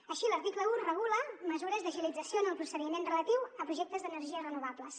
així l’article un regula mesures d’agilització en el procediment relatiu a projectes d’energies renovables